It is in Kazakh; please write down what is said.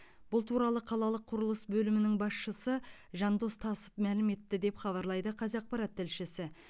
бұл туралы қалалық құрылыс бөлімінің басшысы жандос тасов мәлім етті деп хабарлайды қазақпарат тілшісі